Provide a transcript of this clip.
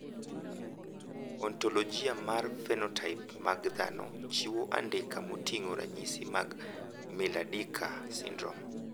Ontologia mar phenotype mag dhano ochiwo andika moting`o ranyisi mag Miller Dieker syndrome.